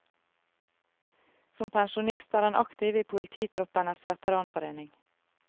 Som pensjonist er han aktiv i polititroppenes veteranforening.